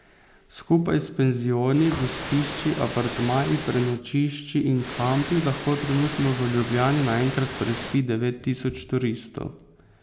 Skupaj s penzioni, gostišči, apartmaji, prenočišči in kampi lahko trenutno v Ljubljani naenkrat prespi devet tisoč turistov.